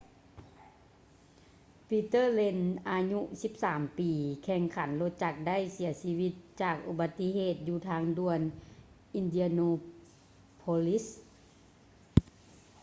peter lenz ອາຍຸ 13 ປີ ນັກແຂ່ງລົດຈັກໄດ້ເສຍຊີວິດຈາກອຸບັດຕິເຫດຢູ່ທາງດ່ວນ indianapolis